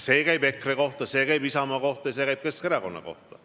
See käib praegu EKRE kohta, see käib Isamaa kohta ja see käib Keskerakonna kohta.